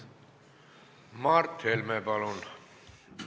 Mart Helme, palun!